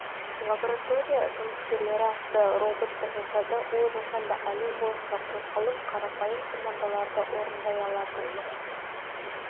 лаборатория жұмыскерлері атты роботты жасады ол жасанды әлем бойынша қозғалып қарапайым командаларды орындай алатын